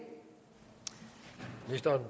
der